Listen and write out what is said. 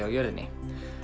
á jörðinni